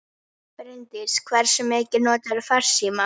Bryndís: Hversu mikið notarðu farsíma?